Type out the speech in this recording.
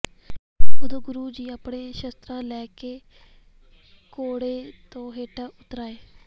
ਉਦੋਂ ਗੁਰੂ ਜੀ ਆਪਣੇ ਸ਼ਸਤਰ ਲੈ ਕੇ ਘੋੜੇ ਤੋਂ ਹੇਠਾਂ ਉੱਤਰ ਆਏ